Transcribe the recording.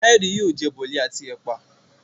Kayode yóò jẹ Boli àti ẹpa.